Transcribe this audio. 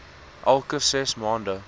elke ses maande